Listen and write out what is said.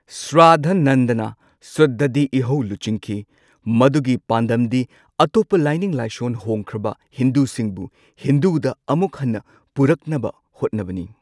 ꯁ꯭ꯔꯥꯙꯥꯅꯟꯗꯅ ꯁꯨꯗꯙꯤ ꯏꯍꯧ ꯂꯨꯆꯤꯡꯈꯤ꯫ ꯃꯗꯨꯒꯤ ꯄꯥꯟꯗꯝꯗꯤ ꯑꯇꯣꯞꯄ ꯂꯥꯏꯅꯤꯡ ꯂꯥꯏꯁꯣꯜ ꯍꯣꯡꯈ꯭ꯔꯕ ꯍꯤꯟꯗꯨꯁꯤꯡꯕꯨ ꯍꯤꯟꯗꯨꯗ ꯑꯃꯨꯛ ꯍꯟꯅ ꯄꯨꯔꯛꯅꯕ ꯍꯣꯠꯅꯕꯅꯤ꯫